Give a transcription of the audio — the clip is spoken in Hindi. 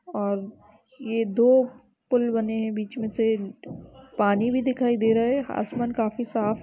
और यह दो पुल बने हुए है बीच मे से पानी भी दिखाई दे रहा है। आसमान काफी साफ --